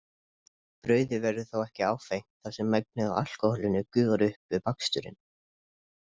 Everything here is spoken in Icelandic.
Brauðið verður þó ekki áfengt þar sem megnið af alkóhólinu gufar upp við baksturinn.